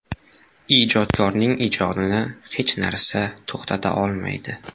Ijodkorning ijodini hech narsa to‘xtata olmaydi.